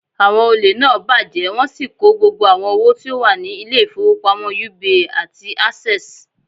Àwon olè náà bàjẹ́ wọ́n sì kó gbogbo owo tí ó wà ni Ilé ìfowópamọ́ UBA àti Access